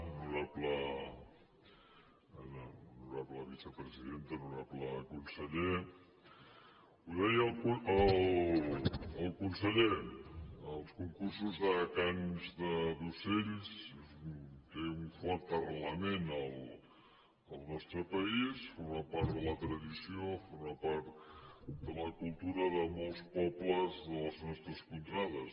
honorable vicepresidenta honorable conseller ho deia el conseller els concursos de cants d’ocells tenen un fort arrelament al nostre país formen part de la tradició formen part de la cultura de molts pobles de les nostres contrades